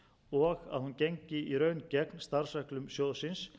og að hún gengi í raun gegn starfsreglum sjóðsins